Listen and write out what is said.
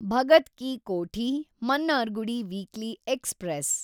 Bhagat ki Kothi Mannargudi weekly express